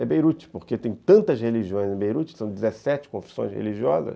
É Beirute, porque tem tantas religiões em Beirute, são dezessete confissões religiosas.